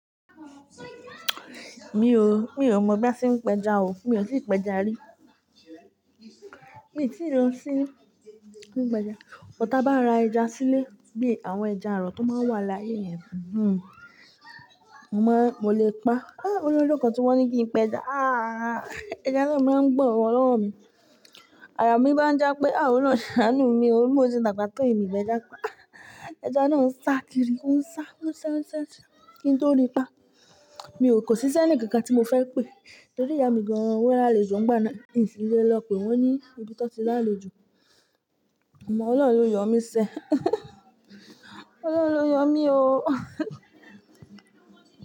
Mi ò, mi ò mọ̀ bí a ṣe ń pẹja o, mi ò tí ì pẹja rí. Mi ò tí ì lọ sí ilé ìpẹja, but ta bá ra ẹja sílé bí àwọn ẹja àrọ̀ tó máa n wà láyé yẹn, hm mmọ́ mo lè pa. Ah! Lọ́jọ́ kàn tí wọ́n ní kí n pẹja, ah! Ẹja náà máa ń gbọ̀n gan lọ́wọ́ mi. Àyà mí bá ń jápé, ah! Ọlọ́run ṣàánú mi, bí mó ṣe dàgbà tó yí mí mọ ejaa'pa. Ah! Ẹja náà ń sá kiri, ó ń sá, ó ń sá, ó ń sá kí n tó ríi pa. Mi ò kò sì s'ẹní kankan tí mo fẹ́ pe. Torí ìyá mi gan-an, wọ́n láàlójù ń gba in sí lé lọ pé wọ́n ní ibi tọ́ tí láàlójù. Mọ̀ Ọlọ́run ló yọ mí sẹ́. Ọlọ́run yọ mí o.